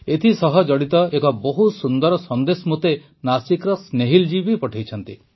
ଏଥିସହ ଜଡ଼ିତ ଏକ ବହୁତ ସୁନ୍ଦର ସନ୍ଦେଶ ମୋତେ ନାସିକର ସ୍ନେହିଲ୍ ଜୀ ପଠାଇଛନ୍ତି